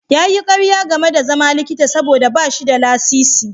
Ya yi ƙarya game da zama likita saboda ba shi da lasisi.